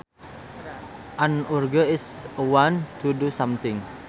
An urge is a want to do something